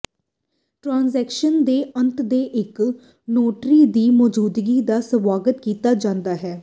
transaction ਦੇ ਅੰਤ ਤੇ ਇੱਕ ਨੋਟਰੀ ਦੀ ਮੌਜੂਦਗੀ ਦਾ ਸਵਾਗਤ ਕੀਤਾ ਜਾਂਦਾ ਹੈ